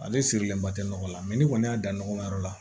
Ale sirilen ba tɛ nɔgɔ la ni kɔni y'a dan nɔgɔma yɔrɔ la